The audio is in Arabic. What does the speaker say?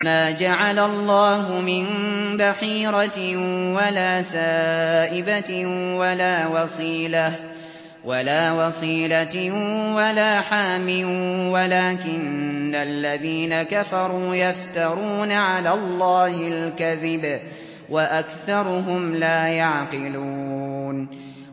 مَا جَعَلَ اللَّهُ مِن بَحِيرَةٍ وَلَا سَائِبَةٍ وَلَا وَصِيلَةٍ وَلَا حَامٍ ۙ وَلَٰكِنَّ الَّذِينَ كَفَرُوا يَفْتَرُونَ عَلَى اللَّهِ الْكَذِبَ ۖ وَأَكْثَرُهُمْ لَا يَعْقِلُونَ